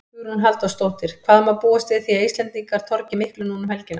Hugrún Halldórsdóttir: Hvað má búast við því að Íslendingar torgi miklu núna um helgina?